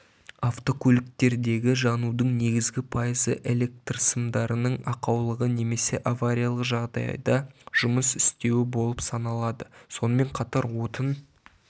автокөліктердегі жанудың негізгі пайызы электрсымдарының ақаулығы немесе авариалық жағдайда жұмыс істеуі болып саналады сонымен қатар отын